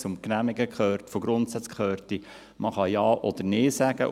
Zum Genehmigen von Grundsätzen gehört, dass man Ja oder Nein sagen kann.